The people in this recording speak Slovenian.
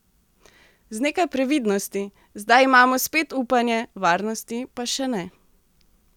Z nekaj previdnosti: "Zdaj imamo spet upanje, varnosti pa še ne.